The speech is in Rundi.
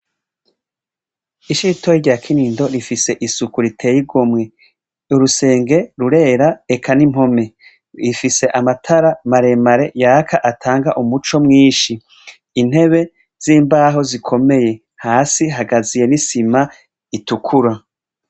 Ishure ritoya rya kinindo rifise isuku riteye igomwe. Urusenge rurera ,eka n'impome. Bifise amatara maremare yaka, atanga umuco mwinshi. Intebe z'imbaho zikomeye hasi hakaziye n'isima itukura.